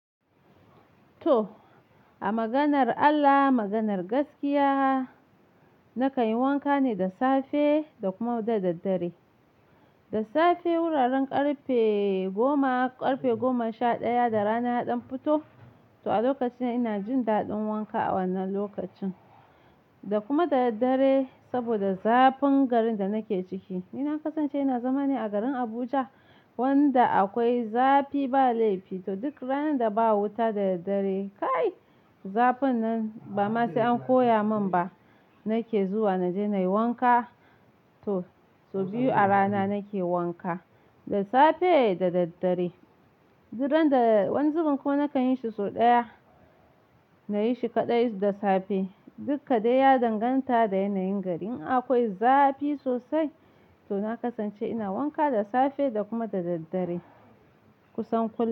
To, a maganar Allah, maganar gaskiya. Nakan yi wanka ne da safe da kuma da daddare. Da safe wuraren karfe goma, karfe goma sha ɗaya da rana ya ɗan fito, to a lokacina ina jin daɗin wanka a wannan lokacin. Da kuma da daddare saboda zafin garin da nake ciki. Ni na kasance ina zama ne a garin Abuja wanda akwai zafi ba laifi. To duk ranar da ba wuta da daddare, kai zafin nan ba ma sai an koya min ba. Nake zuwa na je na yi wanka. To, sau biyu a rana nake wanka, da safe da daddare. Duk randa-- wani zubin kuma nakan yi shi sau ɗaya, na yi shi kaɗai da safe. Duk kaɗai ya danganta da yanayin gari. In akwai zafi sosai to na kasance ina wanka da safe da kuma da daddare. Kusan kul--